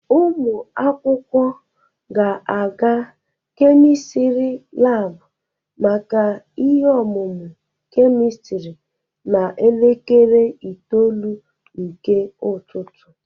Ụmụ akwụkwọ ga-aga kemistiri labụ maka ihe ọmụmụ kemistiri n'elekere itoolu nke ụtụtụ